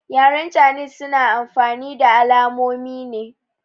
Yaren canis suna amfani da alamonine